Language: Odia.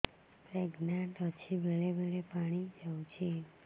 ପ୍ରେଗନାଂଟ ଅଛି ବେଳେ ବେଳେ ପାଣି ଯାଉଛି